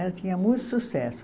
Ela tinha muito sucesso.